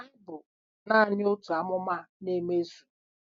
Ma, ha bụ naanị otu amụma na-emezu.